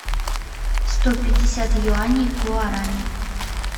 сто пятьдесят юаней в гуарани